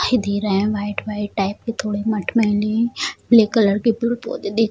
white white type के थोड़े मठमेली ब्लैक कलर के पुरा पोत दे --